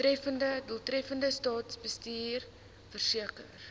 doeltreffende staatsbestuur verseker